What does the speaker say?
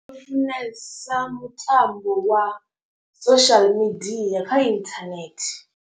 Ndi funesa mutambo wa social media kha internet.